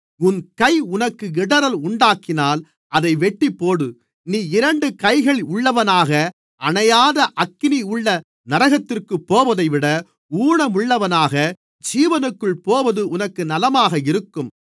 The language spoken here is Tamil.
உன் கை உனக்கு இடறல் உண்டாக்கினால் அதை வெட்டிப்போடு நீ இரண்டு கைகள் உள்ளவனாக அணையாத அக்கினியுள்ள நரகத்திற்குப் போவதைவிட ஊனமுள்ளவனாக ஜீவனுக்குள் போவது உனக்கு நலமாக இருக்கும்